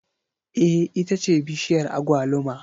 Eh ita ce bishiyar agwaluma